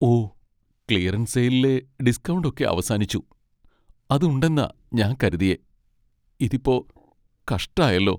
ഓ! Clearance സെയിലിലെ discount ഒക്കെ അവസാനിച്ചു. അത് ഉണ്ടെന്നാ ഞാൻ കരുതിയേ, ഇതിപ്പോ കഷ്ടായല്ലോ.